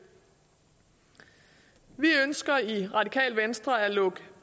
vi ønsker i radikale venstre at lukke